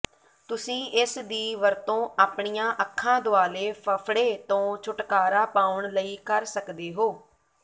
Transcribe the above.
ਤੁਸੀਂ ਇਸ ਦੀ ਵਰਤੋਂ ਆਪਣੀਆਂ ਅੱਖਾਂ ਦੁਆਲੇ ਫਫੜੇ ਤੋਂ ਛੁਟਕਾਰਾ ਪਾਉਣ ਲਈ ਕਰ ਸਕਦੇ ਹੋ